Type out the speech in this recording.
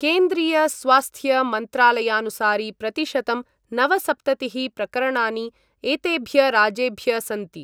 केन्द्रीय स्वास्थ्यमन्त्रालयानुसारि प्रतिशतं नवसप्ततिः प्रकरणानि एतेभ्य राज्येभ्य सन्ति।